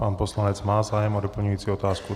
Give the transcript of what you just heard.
Pan poslanec má zájem o doplňující otázku.